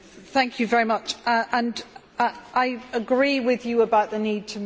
I agree with you about the need to move more swiftly on pooling and sharing.